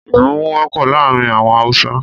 Ìmúmu wọ́pọ̀ láàárín àwọn Hausa